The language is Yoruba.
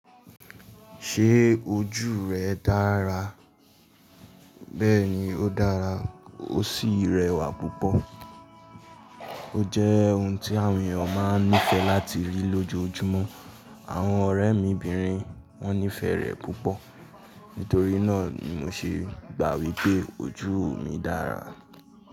Ṣé ojú rẹ dára? Bẹ́ẹ̀ni ó dára ó sì rẹwà púpọ̀. Ó jẹ́ ohun tí àwọn èèyàn máa nífẹ̀ẹ́ láti rí lójoojúmọ́. Àwọn ọ̀rẹ́ mi obìnrin wọn nífẹ̀ẹ́ rẹ̀ púpọ̀. Nítorí náà ni mo ṣe gbà wipé ojú mi dára.